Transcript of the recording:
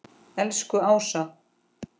Elsku Ása.